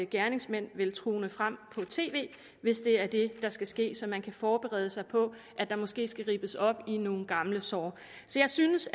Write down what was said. gerningsmanden vil tone frem på tv hvis det er det der skal ske så man kan forberede sig på at der måske skal rippes op i nogle gamle sår så jeg synes